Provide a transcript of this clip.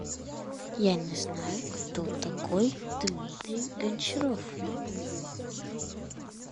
я не знаю кто такой дмитрий гончаров